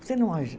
Você não